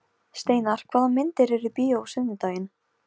Steinar, hvaða myndir eru í bíó á sunnudaginn?